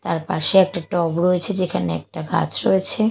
তার পাশে একটা টব রয়েছে যেখানে একটা গাছ রয়েছে।